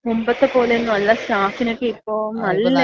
മുമ്പത്തെ പോലേന്നുവല്ല സ്റ്റാഫിനോക്കെ ഇപ്പോ